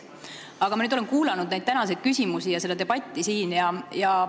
Aga ma olen kuulanud tänaseid küsimusi ja seda debatti siin.